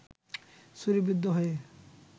ছুরিবিদ্ধ হয়ে